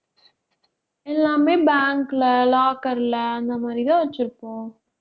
எல்லாமே bank ல locker ல அந்த மாதிரிதான் வச்சிருப்போம்.